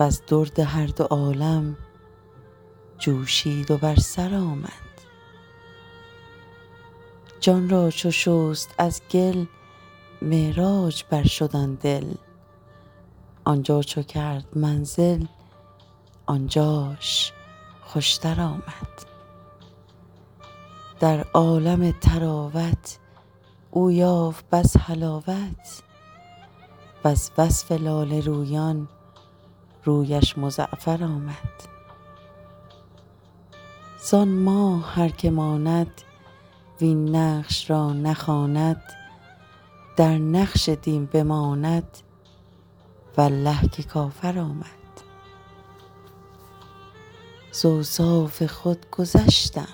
وز درد هر دو عالم جوشید و بر سر آمد جان را چو شست از گل معراج برشد آن دل آن جا چو کرد منزل آن جاش خوشتر آمد در عالم طراوت او یافت بس حلاوت وز وصف لاله رویان رویش مزعفر آمد زان ماه هر که ماند وین نقش را نخواند در نقش دین بماند والله که کافر آمد ز اوصاف خود گذشتم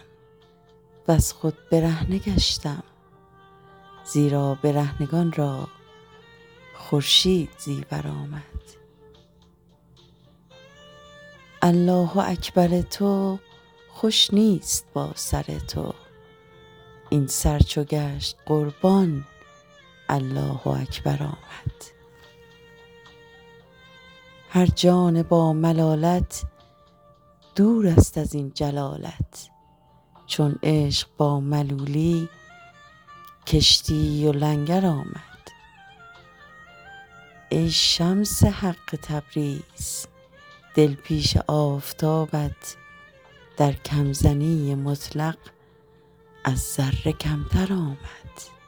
وز خود برهنه گشتم زیرا برهنگان را خورشید زیور آمد الله اکبر تو خوش نیست با سر تو این سر چو گشت قربان الله اکبر آمد هر جان باملالت دورست از این جلالت چون عشق با ملولی کشتی و لنگر آمد ای شمس حق تبریز دل پیش آفتابت در کم زنی مطلق از ذره کمتر آمد